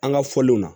An ka fɔliw na